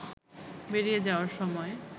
বেরিয়ে যাওয়ার সময়